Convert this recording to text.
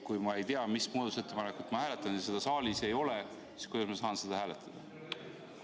Kui ma ei tea, mis muudatusettepanekut ma hääletan, kui seda saalis ei ole, siis kuidas ma saan seda hääletada?